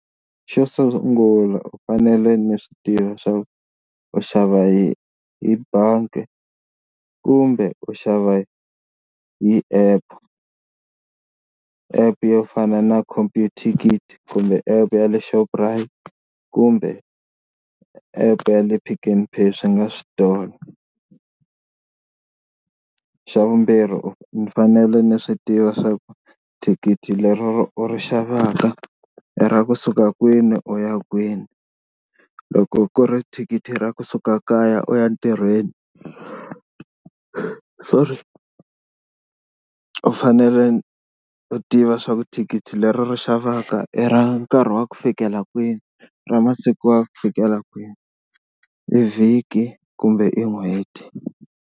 Xo sungula u fanele ni swi tivi swa ku u xava hi hi bangi kumbe u xava hi app, app yo fana na computicket kumbe app ya le Shoprite kumbe app ya le Pick n Pay swi nga switolo. Xa vumbirhi u ni fanele ni swi tiva swa ku thikithi leri u ri xavaka i ra kusuka kwini u ya kwini. Loko ku ri thikithi ra kusuka kaya u ya ntirhweni sorry, u fanele u tiva swa ku thikithi leri u ri xavaka i ra nkarhi wa ku fikela kwini ra masiku ya ku fikela kwihi i vhiki kumbe i n'hweti.